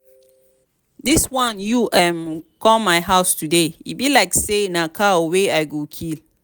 dis wan you um come my house today e be like say na cow wey i go kill